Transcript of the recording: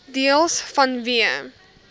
deels vanweë